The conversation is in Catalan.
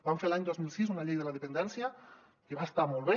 vam fer l’any dos mil sis una llei de la dependència que va estar molt bé